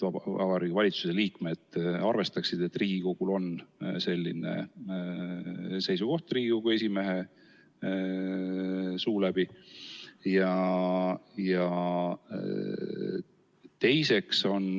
Vabariigi Valitsuse liikmed siis arvestavad, et Riigikogul on selline esimehe suu läbi edastatud seisukoht.